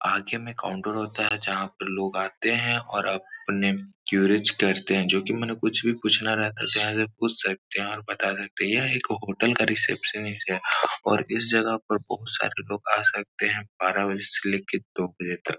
आगे में काउंटर होता हैं जहाँ पे लोग आते हैं और आपने करते हैं जो कि माने कुछ भी पूछना रहता यहाँ से पूछ सकते हैं और बता सकते हैं। यह एक होटल का रिसेप्शनिस्ट है और इस जगह पर बहोत सारे लोग आ सकते हैं। बारह बजे से लेके दो बजे तक।